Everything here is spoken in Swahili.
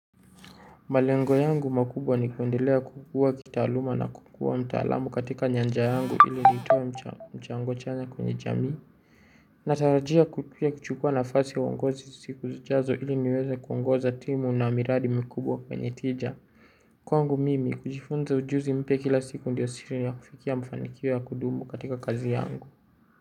Malengo yangu makubwa ni kuendelea kukua kitaaluma na kukua mtaalamu katika nyanja yangu ili nitoe mchango chanya kwenye jamii. Natarajia ku kuchukua nafasi ya uongozi siku zijazo ili niweze kuongoza timu na miradi mkubwa kwenye tija. Kwangu mimi kujifunza ujuzi mpya kila siku ndiyo siri ya kufikia mafanikio ya kudumu katika kazi yangu.